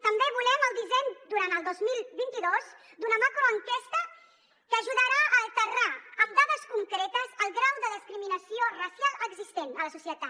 també volem el disseny durant el dos mil vint dos d’una macroenquesta que ajudarà a aterrar amb dades concretes el grau de discriminació racial existent a la societat